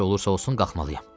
Necə olursa olsun qalxmalıyam.